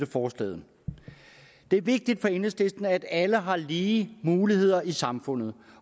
forslag det er vigtigt for enhedslisten at alle har lige muligheder i samfundet